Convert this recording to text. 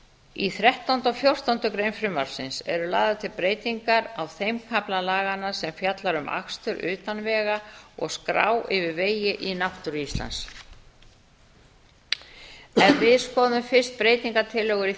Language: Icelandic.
í þrettánda og fjórtándu greinar frumvarpsins eru lagðar til breytingar á þeim kafla laganna sem fjallar um akstur utan vega og skrá yfir vegi í náttúru íslands ef við skoðum fyrst breytingartillögur við